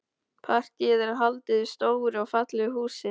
Partíið er haldið í stóru og fallegu húsi.